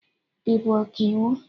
Ị bụ Ọkaiwu?